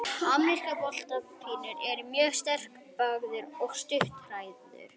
Ameríski bolabíturinn er mjög sterkbyggður og stutthærður.